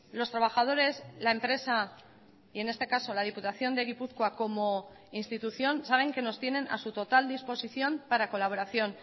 los trabajadores la empresa y en este caso la diputación de gipuzkoa como institución saben que nos tienen a su total disposición para colaboración